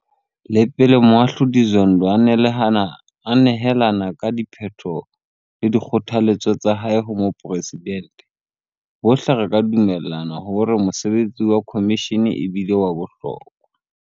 Le pele Moahlodi Zondo a nehelana ka diphetho le dikgothaletso tsa hae ho Moporesidente, bohle re ka dumellana hore mosebetsi wa khomishene e bile wa bohlokwa.